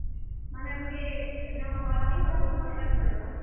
ମାନେ ଗୁଟେ ।